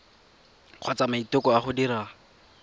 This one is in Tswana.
kgotsa maiteko a go dira